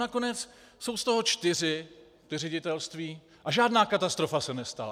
Nakonec jsou z toho čtyři ředitelství a žádná katastrofa se nestala.